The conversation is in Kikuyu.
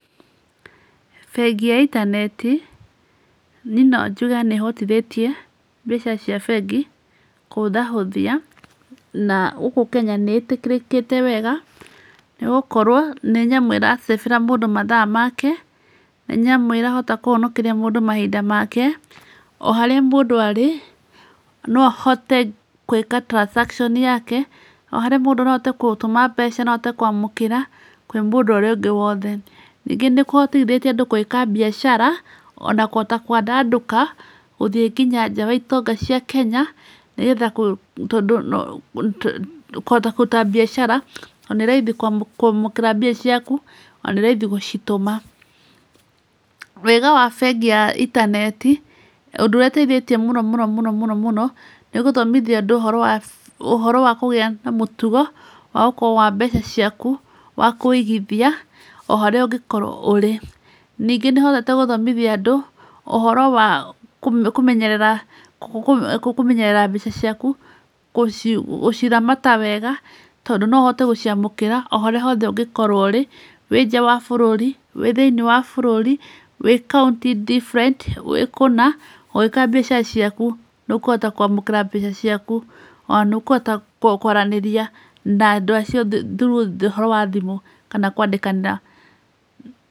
Bengi ya intaneti niĩ no njuge nĩ ĩhotithĩtie mbeca cia bengi kũhũthahũthia, na gũkũ Kenya nĩ ĩtĩkĩrĩkĩte wega nĩ gũkorwo nĩ nyamũ ĩra save ĩra mũndũ mathaa make, nĩ nyamũ ĩrahota kũhonokeria mũndũ mahinda make, O harĩa mũndũ arĩ na ahote kũĩka transaction yake, o harĩa mũndũ, no ahote kũtũma mbeca, no ahote kũamũkĩra kwĩ mũndũ ũrĩa ũngĩ wothe. Ningĩ nĩ kũhotithĩtie andũ kwĩka mbiacara, o na kũhota kũandandũka, gũthiĩ nginya nja wa itonga cia Kenya, nĩgetha kũ tondũ kũhota kũruta mbiacara, to nĩ raithi kũamũkĩra mbia ciaku na nĩ raithi gũcitũma. Wega wa bengi ya intaneti, ũndũ ũrĩa ũteithĩtie mũno mũno mũno mũno nĩ gũthomithia andũ ũhoro wa ũhoro wa kũgĩa na mũtugo wa gũkorwo wa mbeca ciaku, wa kũigithia o harĩa ũngĩkorwo ũrĩ. Ningĩ nĩ ĩhotete gũthomithia andũ ũhoro wa kũmenyerera kũmenyerera mbeca ciaku, gũciramata wega tondũ no ũhote gũciamũkĩra o harĩa hothe ũngĩkorwo ũrĩ, wĩ nja wa bũrũri, wĩ thĩinĩ wa bũrũri, wĩ kaũnti different, wĩ kũna, ũgĩĩka mbeca ciaku, nĩ ũkũhota kũamũkĩra mbeca ciaku, o na nĩ ũkũhota kũaranĩria na andũ acio through ũhoro wa thimũ kana kũandĩkanĩra--